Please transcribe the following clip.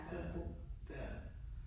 Ja, det er det